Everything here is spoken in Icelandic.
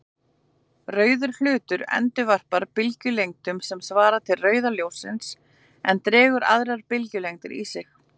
Rauður hlutur endurvarpar bylgjulengdum sem svara til rauða ljóssins en drekkur aðrar bylgjulengdir í sig.